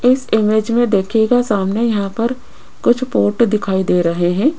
इस इमेज में देखिएगा सामने यहां पर कुछ बोट दिखाई दे रहे हैं।